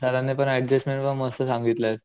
सरांनी पण अडजस्टमेन्ट पण मस्त सांगितलायत.